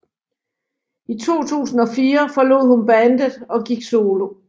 I 2004 forlod hun bandet og gik solo